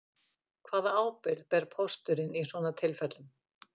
Hvaða ábyrgð ber pósturinn í svona tilfellum